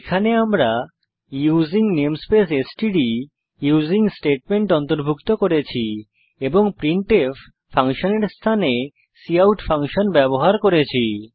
এখানে আমরা using namespace STD using statement অন্তর্ভুক্ত করেছি এবং আমরা প্রিন্টফ ফাংশনের স্থানে কাউট ফাংশন ব্যবহার করছি